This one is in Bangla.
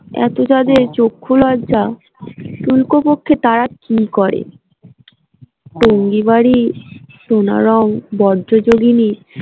এত তাদের চক্ষুলজ্জা পক্ষে তারা কি করে টঙ্গি বাড়ি সোনারং বজ্রযোগীনি